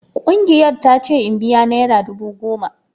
Kungiyar ta ce in biya naira dubu goma.